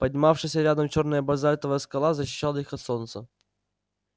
поднимавшаяся рядом чёрная базальтовая скала защищала их от солнца